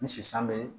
Ni sisan bɛ